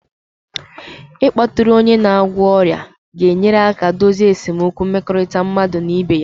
Ịkpọtụrụ onye na-agwọ ọrịa ga-enyere aka dozie esemokwu mmekọrịta mmadụ na ibe ya